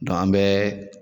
Dɔn an bɛ